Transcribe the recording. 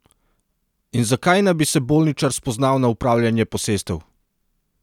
In zakaj naj bi se bolničar spoznal na upravljanje posestev?